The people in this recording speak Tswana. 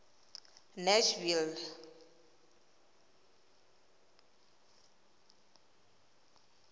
nashville